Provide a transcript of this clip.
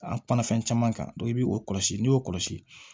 An kumana fɛn caman kan i b'i o kɔlɔsi n'i y'o kɔlɔsi